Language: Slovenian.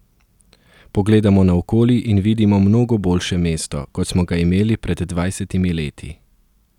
Pogledamo naokoli in vidimo mnogo boljše mesto, kot smo ga imeli pred dvajsetimi leti.